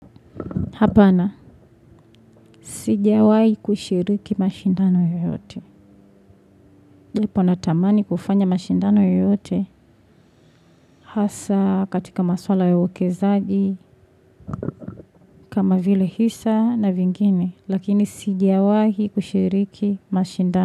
Hapana, sijiawahi kushiriki mashindano yoyote. Japo natamani kufanya mashindano yoyote hasa katika maswala ya uwekezaji kama vile hisa na vingine. Lakini sijiawahi kushiriki mashindano.